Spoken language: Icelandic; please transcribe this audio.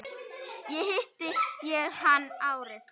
Þar hitti ég hann árið